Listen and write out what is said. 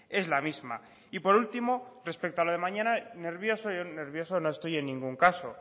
es la misma y por último respecto a lo de mañana nervioso yo no estoy en ningún caso